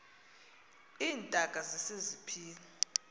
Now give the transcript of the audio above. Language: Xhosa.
iintaka zise ziphila